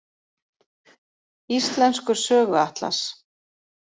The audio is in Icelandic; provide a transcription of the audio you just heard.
Íslenskur söguatlas.